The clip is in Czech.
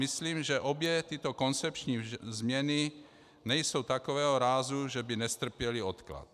Myslím, že obě tyto koncepční změny nejsou takového rázu, že by nestrpěly odklad.